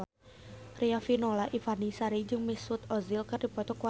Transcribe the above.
Riafinola Ifani Sari jeung Mesut Ozil keur dipoto ku wartawan